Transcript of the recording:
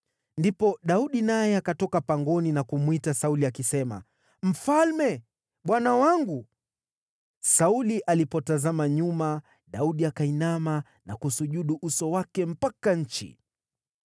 Ndipo Daudi naye akatoka pangoni na kumwita Sauli akisema, “Mfalme, bwana wangu!” Sauli alipotazama nyuma, Daudi akainama na kusujudu uso wake mpaka nchi.